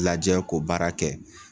Lajɛ ko baara kɛ